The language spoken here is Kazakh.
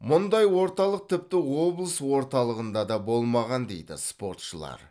мұндай орталық тіпті облыс орталығында да болмаған дейді спортшылар